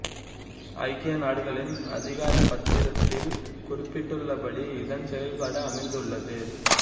ஐக்கிய நாடுகளின் அதிகார பத்திரத்தில் குறிப்பிட்டுள்ளபடி இதன் செயல்பாடு அமைந்துள்ளது